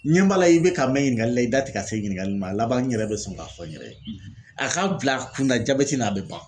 N ɲɛ b'a la i bɛ ka mɛn ɲiningali la i da tɛ ka se ɲiningali nin ma, a laban n yɛrɛ bɛ sɔn k'a fɔ n yɛrɛ ye, , a k'a bil'a kunna jabɛti ni a bɛ ban .